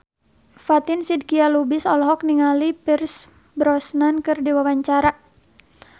Fatin Shidqia Lubis olohok ningali Pierce Brosnan keur diwawancara